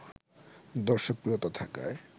দর্শকপ্রিয়তা থাকায়